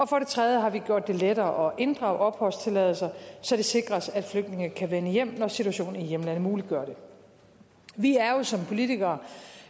for det tredje har vi gjort det lettere at inddrage opholdstilladelser så det sikres at flygtninge kan vende hjem når situationen i hjemlandet muliggør det vi er jo som politikere